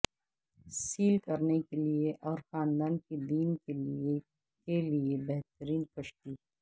cell کرنے کے لئے اور خاندان کے دن کے لئے کے لئے بہترین کشتی